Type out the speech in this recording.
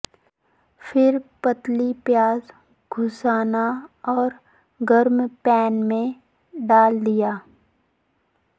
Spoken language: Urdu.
پھر پتلی پیاز گھسنا اور گرم پین میں ڈال دیا